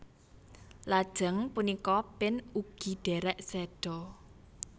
Lajeng punika Pin ugi derek seda